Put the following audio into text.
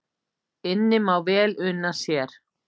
Inni má vel una sér